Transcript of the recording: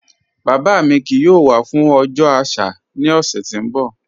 Baba mi kíì yóò wà fún ọjọ́ aṣà ni ọ̀ṣẹ̀ tí n bọ̀.